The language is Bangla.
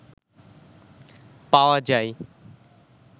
পাওয়া যায়